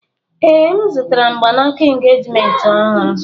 Ee, M zụtara mgbanaka engejiment ọhụrụ.